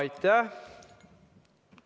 Aitäh!